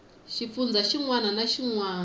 xifundzha xin wana na xin